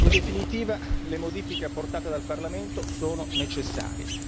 In definitiva, le modifiche apportate del Parlamento sono necessarie.